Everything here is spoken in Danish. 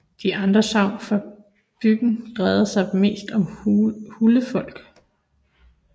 De andre sagn fra bygden drejer sig mest om huldrefolk